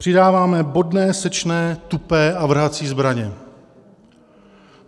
Přidáváme bodné, sečné, tupé a vrhací zbraně.